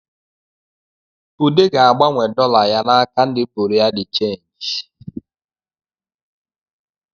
Ude ga-agbanwe dọla ya n’aka ndi bụrịa dị chenjị